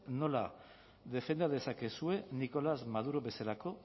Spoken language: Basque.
nola defenda dezakezuen nicolás maduro bezelako